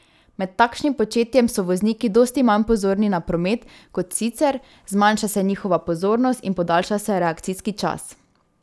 Med takšnim početjem so vozniki dosti manj pozorni na promet kot sicer, zmanjša se njihova pozornost in podaljša se reakcijski čas.